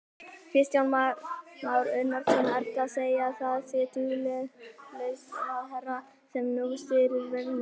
Kristján Már Unnarsson: Ertu að segja að það sé duglaus ráðherra sem nú stýrir vegamálunum?